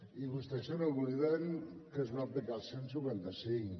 i vostès se n’obliden que es va aplicar el cent i cinquanta cinc